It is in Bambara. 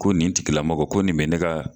Ko nin tigilamɔgɔ ko nin be ne ka